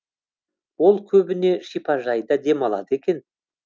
ол көбіне шипажайда демалады екен